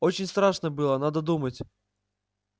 очень страшно было надо думать